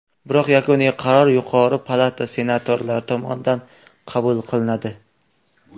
Biroq yakuniy qaror yuqori palata senatorlari tomonidan qabul qilinadi.